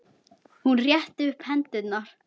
Hún rétti upp hendur.